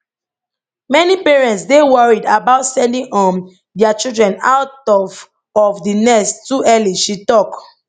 many parents dey worried about sending um dia children out of of di nest too early she tok